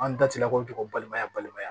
An datila ko tɔgɔ balimaya balimaya